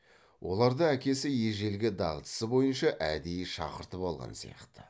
оларды әкесі ежелгі дағдысы бойынша әдейі шақыртып алған сияқты